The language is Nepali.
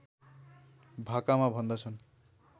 भाकामा भन्दछन्